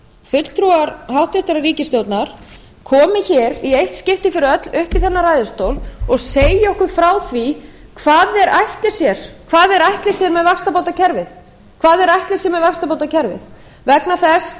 fulltrúar háttvirtrar ríkisstjórnar komi hér í eitt skipti fyrir öll upp í þennan ræðustól og segi okkur frá því hvað þeir ætli sér hvað þeir ætli sér með vaxtabótakerfið vegna þess